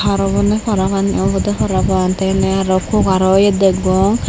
harw bonney parapanney awbwde paran pan tey inni arow kukarow iye degong.